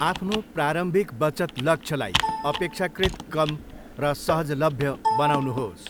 आफ्नो प्रारम्भिक बचत लक्ष्यलाई अपेक्षाकृत कम र सहजलभ्य बनाउनुहोस्।